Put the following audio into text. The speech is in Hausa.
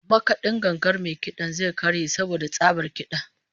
Makad'in gangar mai kid'an zai karye saboda tsabar kid'a